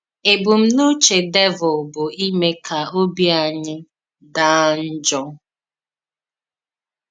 Ébùmnùchè Dèvùl bụ ịmè ka òbì ànyì daa njọ.